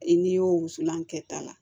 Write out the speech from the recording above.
I n'i y'o wusulan kɛta la